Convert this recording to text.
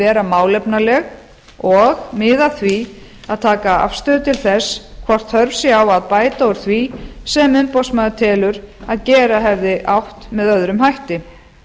vera málefnaleg og miða að því að taka afstöðu til þess hvort þörf sé á að bæta úr því sem umboðsmaður telur að gera hefði átt með öðrum hætti